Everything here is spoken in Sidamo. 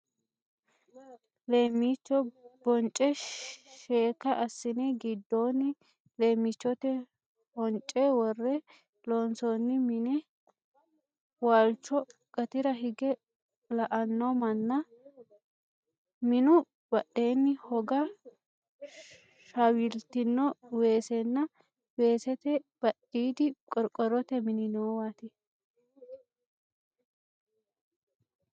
Leemmicho bonce sheekka assine giddoonni leemmichote hoonce worre loonsoonni mine, waalchoho gatira hige la"anno manna, minu badheenni hogga shawaltino weesenna weesete badhiidi qorqorrote mini noowaati.